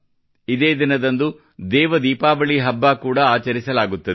ಇದೇ ದಿನದಂದು ದೇವ ದೀಪಾವಳಿ ಹಬ್ಬ ಕೂಡಾ ಆಚರಿಸಲಾಗುತ್ತದೆ